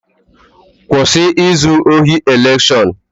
Kwụsị izu ohi elekshọn!